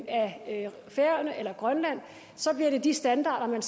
af færøerne eller af grønland så bliver det de standarder man